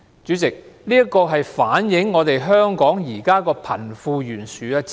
主席，這反映香港現時的貧富懸殊問題。